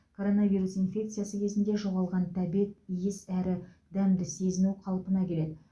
коронавирус инфекциясы кезінде жоғалған тәбет иіс әрі дәмді сезіну қалпына келеді